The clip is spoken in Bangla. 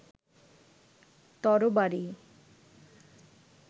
তরবারী